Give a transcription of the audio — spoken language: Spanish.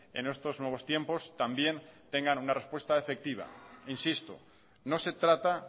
en estos nuevos tiempos también tengan una respuesta efectiva insisto no se trata